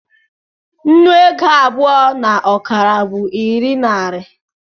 nnu ego abụọ na ọkara bụ iri nari